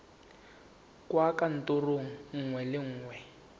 kwa kantorong nngwe le nngwe